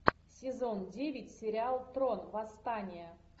сезон девять сериал трон восстание